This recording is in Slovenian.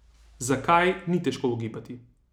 Zakaj, ni težko ugibati.